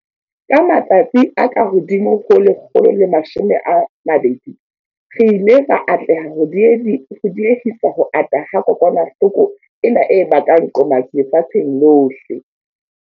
Ka matsatsi a kahodimo ho 120, re ile ra atleha ho die-hisa ho ata ha kokwanahloko ena e bakang qomatsi lefatsheng lohle.